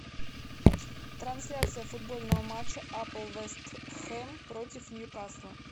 трансляция футбольного матча апл вест хэм против ньюкасла